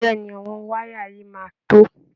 Bẹ́ẹ̀ ni, àwọn wáyà yìí máa tó